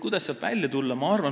Kuidas sealt välja tulla?